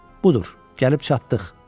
Budur, gəlib çatdıq.